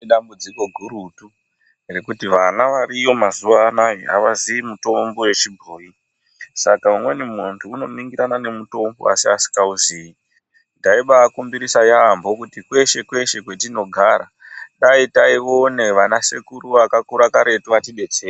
Idambudziko gurutu rekuti vana variyo mazuva anaya havazii mitombo yechibhoyi. Saka umweni muntu unoningirana nemutombo asi asikauzii. Taibaakumbirisa yaambo kuti kweshe-kweshe kwetinogara, dai taione vanasekuru vakakura karetu vatidetse...